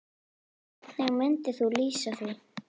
Hvernig myndir þú lýsa því?